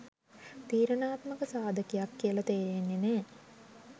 තීරණාත්මක සාධකයක් කියලා තේරෙන්නේ නෑ.